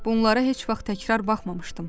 Bunlara heç vaxt təkrar baxmamışdım.